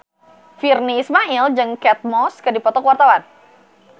Virnie Ismail jeung Kate Moss keur dipoto ku wartawan